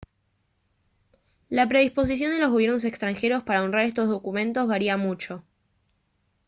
la predisposición de los gobiernos extranjeros para honrar estos documentos varía mucho